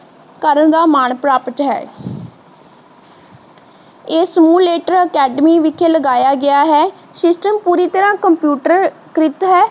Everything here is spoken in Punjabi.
ਘਰ ਦਾ ਮਾਨ ਪ੍ਰਾਪਤ ਹੈ ਇਹ stimulator academy ਵਿਚ ਲਗਾਇਆ ਗਿਆ ਹੈ ਸਿਸਟਮ ਪੂਰੀ ਤਰਾਹ computer ਕ੍ਰਿਤ ਹੈ